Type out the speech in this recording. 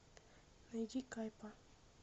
найди кайпа